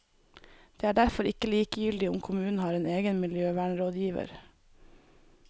Det er derfor ikke likegyldig om kommunen har en egen miljøvernrådgiver.